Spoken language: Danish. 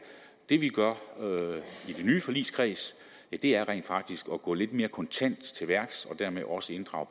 det vi gør i den nye forligskreds er rent faktisk at gå lidt mere kontant til værks og dermed også inddrage